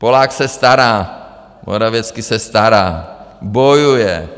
Polák se stará, Morawiecki se stará, bojuje.